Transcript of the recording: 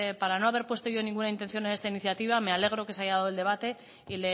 para no haber puesto yo ninguna intención en esta iniciativa me alegro que se haya dado el debate y